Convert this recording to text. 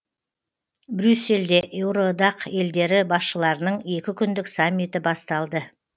брюссельде еуроодақ елдері басшыларының екі күндік саммиті басталды